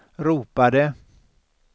ropade